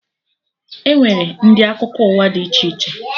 Enwere ndị akụkọ ụwa dị iche iche